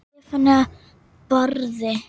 Stefán Barði.